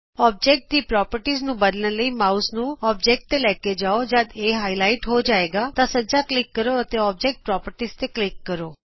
ਅਕਾਰ ਦੀ ਪ੍ਰੋਪਰਟੀਜ਼ ਨੂੰ ਬਦਲਣ ਲਈ ਮਾਉਸ ਨੂੰ ਅਕਾਰ ਤੇ ਲੈ ਕੇ ਜਾਉ ਜਦ ਇਹ ਗੂੜਾ ਹੋ ਕੇ ਉਭਰੇਗਾ ਤਾਂ ਸੱਜਾ ਕਲਿਕ ਕਰੋ ਅਤੇ ਅੋਬਜੈਕਟ ਪ੍ਰੋਪਰਟੀਜ਼ ਤੇ ਕਲਿਕ ਕਰੋ